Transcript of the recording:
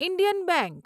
Indian bank